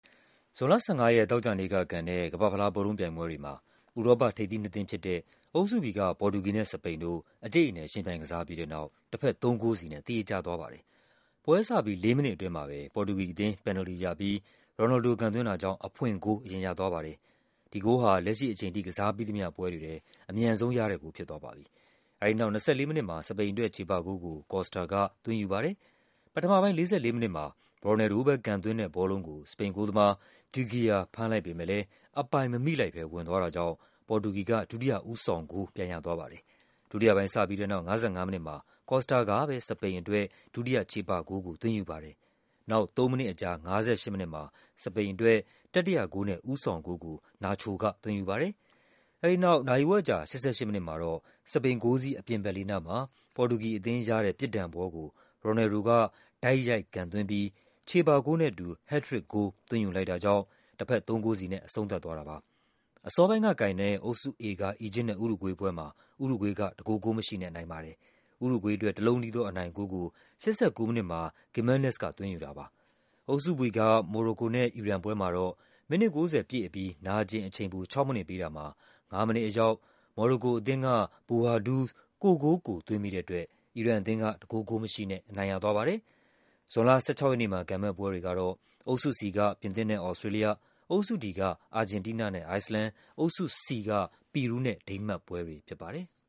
ဇွန်လ ၁၅ ရက် သောကြာနေ့ကကန်တဲ့ ကမ္ဘာ့ဖလား ဘောလုံးပြိုင်ပွဲတွေမှာ ဥရောပထိပ်သီးနှစ်သင်းဖြစ်တဲ့ အုပ်စု B က ပေါ်တူဂီ နဲ့ စပိန်တို့ အကျိတ်အနယ် ယှဉ်ပြိုင်ကစားကြပြီးတဲ့နောက် တဘက် သုံးဂိုးစီနဲ့ သရေကျသွားပါတယ်။ ပွဲစပြီး ၄ မိနစ်အတွင်းမှာပဲ ပေါ်တူဂီအသင်း ပန်နယ်လ်တီရပြီး ရိုနယ်လ်ဒို ကန်သွင်း တာကြောင့် အဖွင့်ဂိုး အရင်ရပါတယ်။ ဒီဂိုးဟာ လက်ရှိအချိန်အထိ ကစားပြီးသမျှ ပွဲတွေထဲ အမြန်ဆုံးရတဲ့ဂိုး ဖြစ်သွားပါပြီ။ အဲဒီနောက် ၂၄ မိနစ်မှာ စပိန်အတွက် ချေပဂိုး ကို Costa က ၂၄ မိနစ်မှာ သွင်းယူူပါတယ်။ ပထမပိုင်း ၄၄ မိနစ်မှာ ရိုနယ်လ်ဒိုပဲ ကန်သွင်းတဲ့ဘောလုံးကို စပိန်ဂိုးသမား de Gea ဖမ်းလိုက်ပေမဲ့လည်း အပိုင်မမိလိုက်ဘဲ ဝင်သွားတာကြောင့် ပေါ်တူဂီက ဒုတိယ ဦးဆောင်ဂိုး ပြန်ရသွားပါတယ်။ ဒုတိယပိုင်းစပြီးတဲ့နောက် ၅၅ မိနစ်မှာ Costa ကပဲ စပိန်အတွက် ဒုတိယချေပဂိုးကို သွင်းယူူပါတယ်။ နောက် ၃ မိနစ်အကြာ ၅၈ မိနစ်မှာ စပိန်အတွက် တတိယဂိုးနဲ့ ဦးဆောင်ဂိုးကို Nacho က သွင်းယူပါတယ်။ အဲဒီနောက် နာရီဝက်အကြာ ၈၈ မိနစ်မှာတော့ စပိန်ဂိုးစည်း အပြင်ဘက်လေးနားမှာ ပေါ်တူဂီရတဲ့ ပြစ်ဒဏ်ဘောကို ရိုနယ်လ်ဒ်က ကန်သွင်းပြီး ချေပဂိုးနဲ့အတူူ ဟက်ထရစ်ဂိုး သွင်းယူလိုက်တာကြောင့် တဘက် ၃ ဂိုးစီနဲ့ အဆုံးသတ်သွားတာပါ။ အစောပိုင်းကကန်တဲ့ အုပ်စု A က အီဂျစ်နဲ့ ဥရုဂွေးပွဲမှာ ဥရုဂွေးက တဂိုး ဂိုးမရှိနဲ့ အနိုင်ရ ပါတယ်။ ဥရုဂွေးအတွက် တလုံးတည်း သော အနိုင်ဂိုးကို ၈၉ မိနစ်မှာ Gimenez က သွင်းယူတာပါ။ အုပ်စု B က မော်ရိုကိုနဲ့ အီရန်ပွဲမှာတော့ မိနစ် ၉၀ ပြည့်အပြီး နာကျင်အချိန်ပို ၆ မိနစ်ပေးတာမှာ ၅ မိနစ်အရောက် မော်ရိုကို အသင်းက Bouhaddouz ကိုယ့်ဂိုးကိုယ် သွင်းမိတဲ့အတွက် အီရန်အသင်းက တဂိုး ဂိုးမရှိနဲ့ အနိုင်ရသွားပါတယ်။ ဇွန်လ ၁၆ ရက်နေ့မှာ ကန်မယ့်ပွဲတွေကတော့ အုပ်စု C က ပြင်သစ်နဲ့ သြစတြေးလျ၊ အုပ်စု D က အာဂျင်တီးနားနဲ့ အိုက်စ်လန်၊ အုပ်စု C က ပီရူးနဲ့ ဒိန်းမတ်ပွဲတွေဖြစ်ပါတယ်။